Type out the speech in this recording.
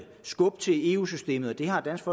skubbe til eu systemet og det har dansk